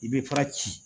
I bɛ pan ci